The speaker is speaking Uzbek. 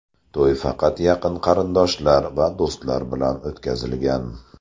To‘y faqat yaqin qarindoshlar va do‘stlar bilan o‘tkazilgan.